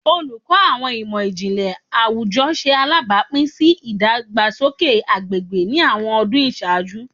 Oluko Awọn Imọ-jinlẹ Awujọ ṣe alabapin si idagbasoke agbegbe ni awọn ọdun iṣaaju